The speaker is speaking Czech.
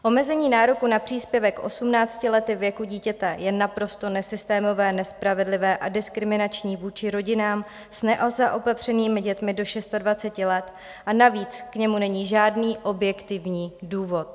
Omezení nároku na příspěvek 18 lety věku dítěte je naprosto nesystémové, nespravedlivé a diskriminační vůči rodinám s nezaopatřenými dětmi do 26 let, a navíc k němu není žádný objektivní důvod.